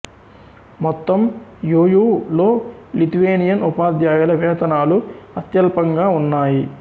మొత్తం యు యూ లో లిథువేనియన్ ఉపాధ్యాయుల వేతనాలు అత్యల్పంగా ఉన్నాయి